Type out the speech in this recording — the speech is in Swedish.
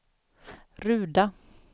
Ruda